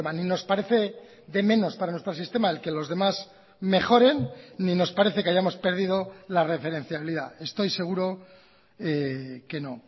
ni nos parece de menos para nuestro sistema el que los demás mejoren ni nos parece que hayamos perdido la referencialidad estoy seguro que no